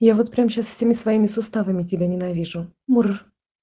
я вот прямо сейчас всеми своими суставами тебя ненавижу мур